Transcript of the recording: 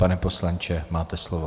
Pane poslanče, máte slovo.